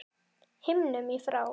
himnum í frá